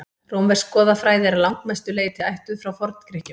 rómversk goðafræði er að langmestu leyti ættuð frá forngrikkjum